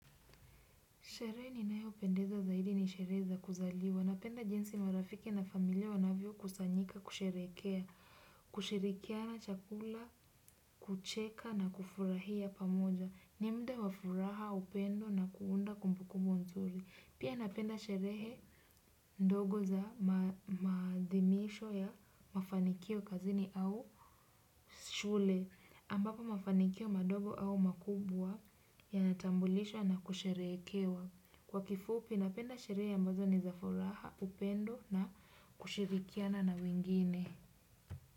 Sherehe ninayopendeza zaidi ni sherehe za kuzaliwa. Napenda jinsi marafiki na familia wanavyokusanyika kusherehekea, kushirikiana chakula, kucheka na kufurahia pamoja. Ni muda wa furaha, upendo na kuunda kumbukumbu mzuri. Pia napenda sherehe ndogo za maadhimisho ya mafanikio kazini au shule. Ambako mafanikio madogo au makubwa yanatambulishwa na kusherehekewa. Kwa kifupi napenda sherehe ambazo ni za furaha, upendo na kushirikiana na wengine.